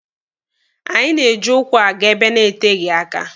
Anyị na-eji ụkwụ aga ebe na-eteghi aka.